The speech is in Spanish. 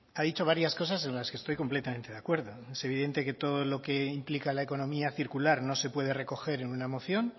ha dicho varias cosas en las que estoy completamente de acuerdo es evidente que todo lo que implica la economía circular no se puede recoger en una moción